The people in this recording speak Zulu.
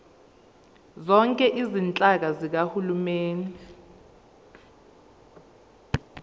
zonke izinhlaka zikahulumeni